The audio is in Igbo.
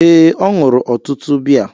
Ee, ọ ṅụrụ ọtụtụ biya.